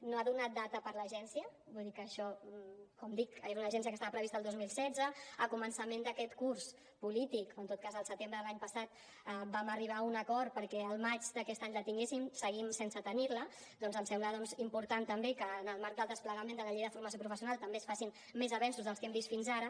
no ha donat data per a l’agència vull dir que això com dic era una agència que estava prevista el dos mil setze a començament d’aquest curs polític o en tot cas al setembre de l’any passat vam arribar a un acord perquè al maig d’aquest any la tinguéssim seguim sense tenir la em sembla important també que en el marc del desplegament de la llei de formació professional també es facin més avenços dels que hem vist fins ara